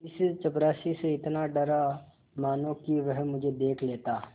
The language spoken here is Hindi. इस चपरासी से इतना डरा मानो कि वह मुझे देख लेता